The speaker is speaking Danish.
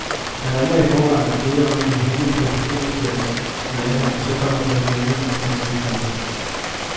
Man ringer i forvejen og beder om at blive hentet på en parkeringsplads i nærheden, og så kommer personalet med en snescooter.